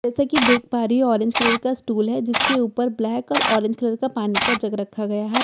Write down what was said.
जैसा कि देख पा रही हु ऑरेंज कलर का स्टूल है जिसके ऊपर ब्लैक और ऑरेंज कलर का पानी का जग रखा गया है।